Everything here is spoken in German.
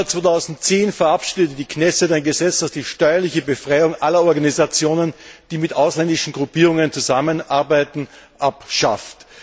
Im Februar 2010 verabschiedete die Knesset ein Gesetz, das die steuerliche Befreiung aller Organisationen, die mit ausländischen Gruppierungen zusammenarbeiten, abschafft.